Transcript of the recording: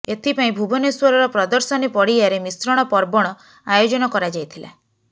ଏଥିପାଇଁ ଭୁବନେଶ୍ୱରର ପ୍ରଦର୍ଶନୀ ପଡିଆରେ ମିଶ୍ରଣ ପର୍ବଣ ଆୟୋଜନ କରାଯାଇଥିଲା